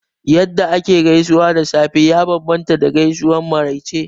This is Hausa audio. Yadda ake gaisuwa da safe ya bambanta da gaisuwar maraice